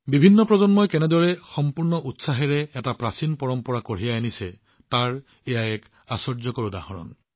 বিভিন্ন প্ৰজন্মই কেনেকৈ এক প্ৰাচীন পৰম্পৰাক সম্পূৰ্ণ আভ্যন্তৰীণ উৎসাহেৰে আগবঢ়াই নিছে এয়া তাৰ এক আশ্চৰ্যকৰ উদাহৰণ